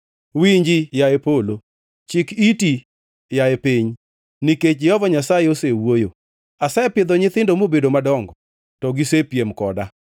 Winji yaye polo! Chik iti, yaye piny! Nikech Jehova Nyasaye osewuoyo: asepidho nyithindo mobedo madongo, to gisepiem koda.